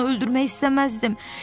mən onu öldürmək istəməzdim.